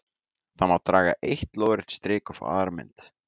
Þá má draga eitt lóðrétt strik og fá aðra mynd: